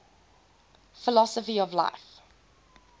philosophy of life